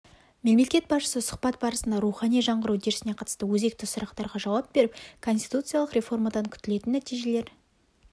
мемлекет басшысы сұхбат барысында рухани жаңғыру үдерісіне қатысты өзекті сұрақтарға жауап беріп конституциялық реформадан күтілетін нәтижелер